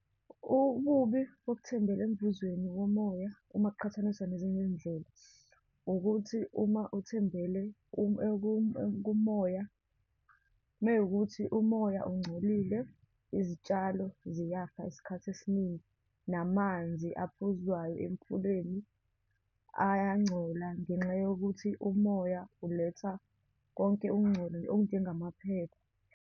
Ububi bokuthembela emvuzweni womoya uma kuqhathaniswa nezinye iy'ndlela, ukuthi uma uthembele kumoya, uma wukuthi umoya ungcolile, izitshalo ziyafa isikhathi esiningi, namanzi aphuzwayo emfuleni ayangcola, ngenxa yokuthi umoya uletha konke ukungcola okunjengamaphepha.